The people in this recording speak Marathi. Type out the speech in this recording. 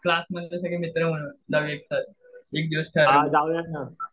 क्लासमधले सगळे मित्र